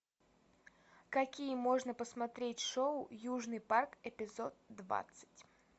какие можно посмотреть шоу южный парк эпизод двадцать